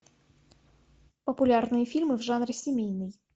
популярные фильмы в жанре семейный